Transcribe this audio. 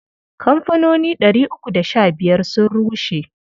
Kamfanoni ɗari uku da sha biyar sun rushe.